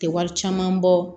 Tɛ wari caman bɔ